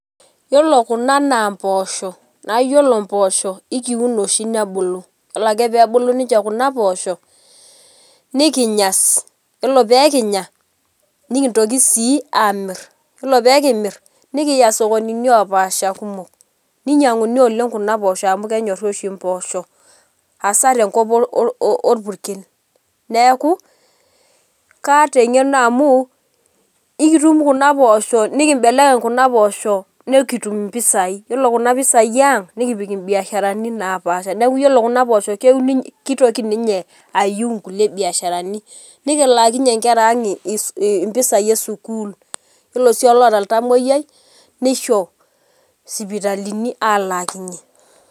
Yiolo kuna na npoosho na yiolo mpoosho ekiun oshi nebuku, yiolo ake ninye pebulu kunapoosho nikinya, yiolo pekinya nikintoki si amir, yiolo pekimir nikiya sokonini opaasha kumok, ninyanguni kuna poosho amu kenyori oshi mpoosho asaa tenkop orpurkel neaku kaata engeno amu ekitum kuna poosho nikitum mpisai, yiolo kuna pisai aang nikiasie mbiasharani napaasha neaku iyolo kunapoosho kitoki ninche ayiu nkulie biasharani nikilaakinye nkera aang impisai esukul yiolo si olaata oltamoyiai nisho sipitalini alaakinye.